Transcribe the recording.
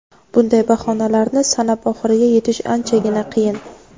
bunday bahonalarni sanab oxiriga yetish anchagina qiyin.